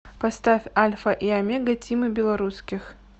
поставь альфа и омега тимы белорусских